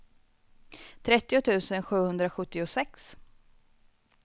trettio tusen sjuhundrasjuttiosex